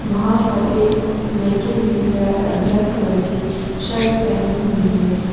वहां पर एक लड़कें ने ब्लैक कलर के शर्ट पहनी हुई है।